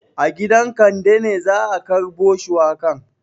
A gidan Kande ne za a karbo shuwakan.